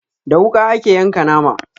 Da wuƙa ake yanka nama